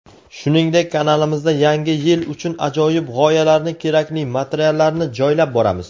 Shuningdek kanalimizda yangi yil uchun ajoyib g‘oyalarni kerakli materiallarni joylab boramiz.